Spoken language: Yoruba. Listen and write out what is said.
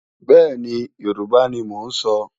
Bẹ́ẹ̀ni, Yorùbá ni mò ń sọ.